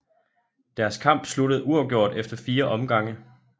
Deres kamp sluttede uafgjort efter fire omgange